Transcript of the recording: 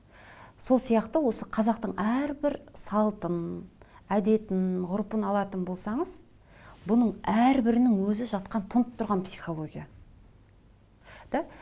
сол сияқты осы қазақтың әрбір салтын әдетін ғұрпын алатын болсаңыз бұның әрбірінің өзі жатқан тұнып тұрған психология да